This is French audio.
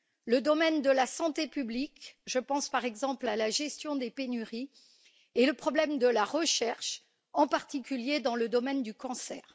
le domaine de la santé publique, je pense par exemple à la gestion des pénuries, et le problème de la recherche, en particulier dans le domaine du cancer.